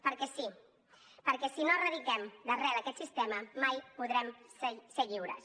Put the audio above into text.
perquè sí perquè si no erradiquem d’arrel aquest sistema mai podrem ser lliures